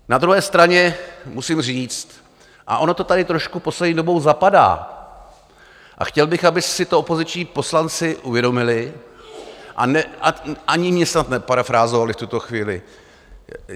Na druhé straně musím říct, a ono to tady trošku poslední dobou zapadá a chtěl bych, aby si to opoziční poslanci uvědomili a ani mě snad neparafrázovali v tuto chvíli.